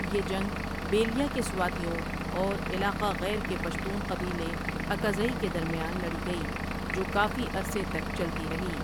یہ جنگ بیلیاں کے سواتیوں اور علاقہ غیر کہ پشتون قبیلے اکا زئی کہ درمیان لڑی گئی جو کافی عرصے تک چلتی رہی۔